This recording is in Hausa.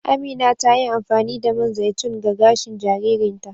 Amina ta yi amfani da man zaitun ga gashin jaririn ta.